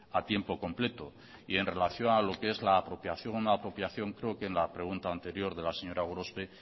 a tiempo completo y en relación a lo qué es la apropiación o no apropiación creo que en la pregunta anterior de la señora gorospe